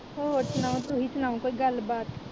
ਹੋਰ ਸੁਣਾਓ ਤੁਸੀਂ ਸਨਾਓ ਕੋਈ ਗੱਲ ਬਾਤ